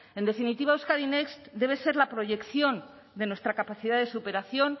en definitiva euskadi next debe ser la proyección de nuestra capacidad de superación